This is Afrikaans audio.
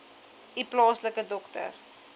u plaaslike dokter